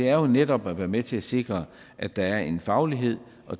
er jo netop at være med til at sikre at der er en faglighed og